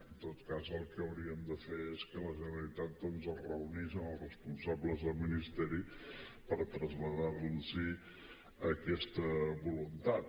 en tot cas el que hauríem de fer és que la generalitat doncs es reunís amb els responsables del ministeri per traslladar los aquesta voluntat